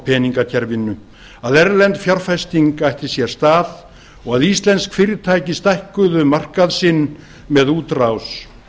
peningakerfinu að erlend fjárfesting ætti sér stað og að íslensk fyrirtæki stækkuðu markað sinn með útrás